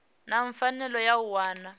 na pfanelo ya u wana